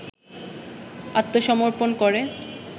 আত্মসমর্পন করে